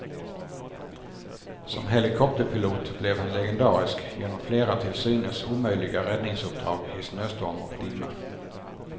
Som helikopterpilot blev han legendarisk genom flera till synes omöjliga räddningsuppdrag i snöstorm och dimma.